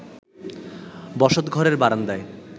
বসত ঘরের বারান্দায়